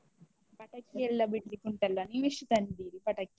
ಪಟಾಕಿ ಎಲ್ಲ ಬಿಡ್ಲಿಕ್ಕುಂಟಲ್ಲಾ, ನೀವೆಷ್ಟು ತಂದಿದ್ದೀರಿ, ಪಟಾಕಿ?